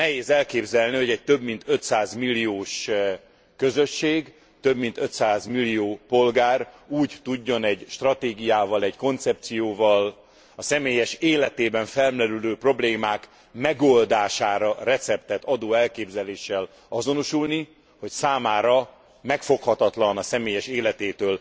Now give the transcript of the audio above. Nehéz elképzelni, hogy egy több mint 500 milliós közösség, több mint 500 millió polgár úgy tudjon egy stratégiával, egy koncepcióval a személyes életében felmerülő problémák megoldására receptet adó elképzeléssel azonosulni, hogy számára megfoghatatlan, a személyes életétől